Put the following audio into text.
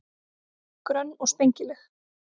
Grönn og spengileg.